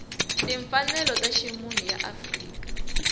timfanelo ta ximunhu ya afrika